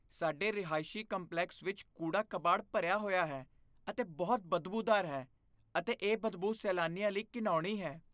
ਸਾਡੇ ਰਹਾਇਸ਼ੀ ਕੰਪਲੈਕਸ ਵਿੱਚ ਕੂੜਾ ਕਬਾੜ ਭਰਿਆ ਹੋਇਆ ਹੈ ਅਤੇ ਬਹੁਤ ਬਦਬੂਦਾਰ ਹੈ ਅਤੇ ਇਹ ਬਦਬੂ ਸੈਲਾਨੀਆਂ ਲਈ ਘਿਣਾਉਣੀ ਹੈ।